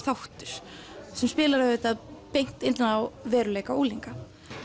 þáttur sem spilar auðvitað beint inn á veruleika unglinga